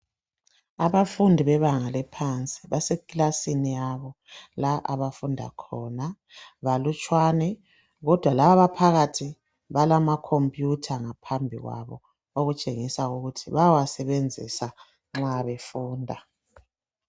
Abafundi bebanga eliphansi basekilasini yabo la abafunda khona balutshwane kodwa laba phakathi balama computer ngaphambi kwabo okutshengisa ukuthi bayawasebenzisa nxa befunda.